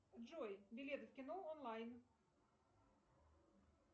джой билеты в кино онлайн